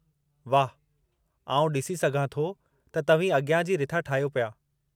वाहु, आउं ॾिसी सघां थो त तव्हीं अॻियां जी रिथा ठाहियो पिया।